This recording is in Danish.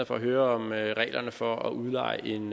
for at høre om reglerne for at udleje en